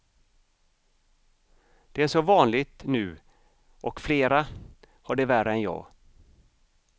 Det är så vanligt nu och flera har det värre än jag.